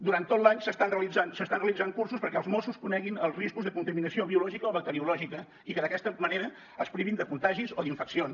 durant tot l’any s’estan realitzant cursos perquè els mossos coneguin els riscos de contaminació biològica o bacteriològica i que d’aquesta manera es privin de contagis o d’infeccions